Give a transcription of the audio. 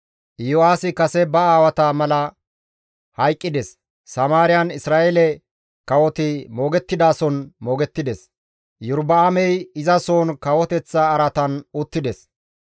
Yo7aasi kase ba aawata mala hayqqides; Samaariyan Isra7eele kawoti moogettidason moogettides; Iyorba7aamey izasohon kawoteththa araatan uttides.